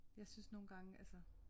Jeg synes nogle gange altså